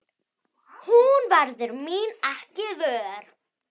Hún verður mín ekki vör.